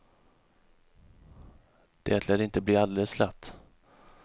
Det lär inte bli alldeles lätt.